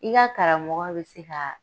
I karamɔgɔ be se ka